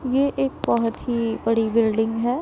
ये एक बहोत ही बड़ी बिल्डिंग है।